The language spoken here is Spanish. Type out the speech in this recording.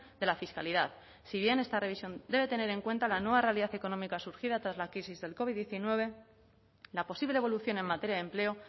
de la fiscalidad si bien esta revisión debe tener en cuenta la nueva realidad económica surgida tras la crisis del covid diecinueve la posible evolución en materia de empleo